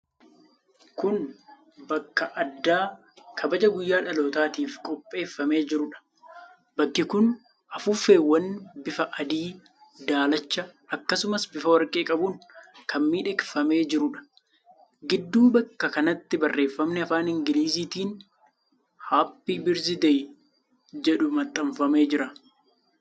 Kun bakka addaa kabaja guyyaa dhalootaatiif qopheeffamee jiruudha. Bakki kun afuuffeewwan bifa adii, daalacha, akkasumas bifa warqee qabuun kan miidhagfamee jiruudha. Gidduu bakka kanaatti barreeffamni afaan Ingiliziitiin 'Happy Birthday' jedhu maxxanfamee jira.